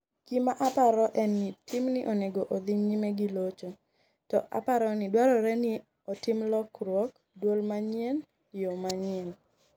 ''Gima aparo en ni team ni onego odhi nyime gi locho, to aparo ni dwarore ni otim lokruok, duol manyien, yo manyien.